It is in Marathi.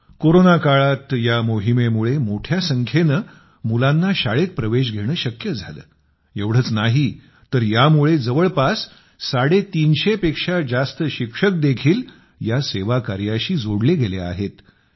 कोरोना काळात या मोहिमेमुळे मोठ्या संख्येने मुलांना शाळेत प्रवेश घेणं शक्य झालं एवढच नाही तर यामुळे जवळपास 350 पेक्षा जास्त शिक्षक देखील या सेवाकार्याशी जोडले गेले आहेत